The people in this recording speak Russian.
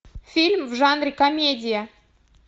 фильм в жанре комедия